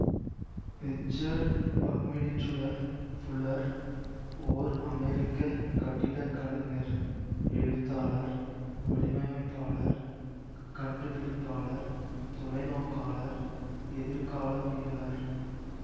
Richard Buckminster Fuller ஓர் அமெரிக்க கட்டிடக் கலைஞர் எழுத்தாளர் வடிவமைப்பாளர் கண்டுபிடிப்பாளர் தொலைநோக்காளர் எதிர்காலவியலர்